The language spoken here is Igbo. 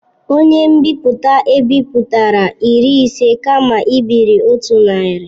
Onye nbipute ebipụtara iri ise kama ibiri otu narị.